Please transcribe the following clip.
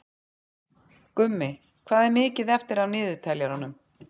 Gummi, hvað er mikið eftir af niðurteljaranum?